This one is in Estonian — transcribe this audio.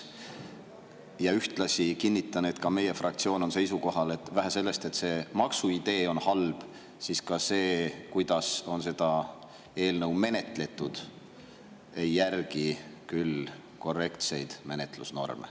Ja ühtlasi kinnitan, et ka meie fraktsioon on seisukohal, et vähe sellest, et selle maksu idee on halb, aga ka see, kuidas on seda eelnõu menetletud, ei järgi küll korrektseid menetlusnorme.